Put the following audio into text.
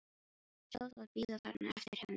Sjá það bíða þarna eftir henni.